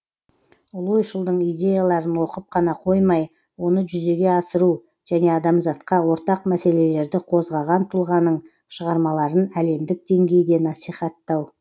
ұлы ойшылдың идеяларын оқып қана қоймай оны жүзеге асыру және адамзатқа ортақ мәселелерді қозғаған тұлғаның шығармаларын әлемдік деңгейде насихаттау